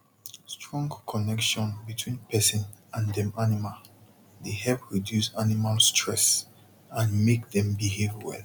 strong connection between person and dem animal dey help reduce animal stress and make dem behave well